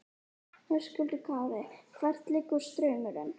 Höskuldur Kári: Hvert liggur straumurinn?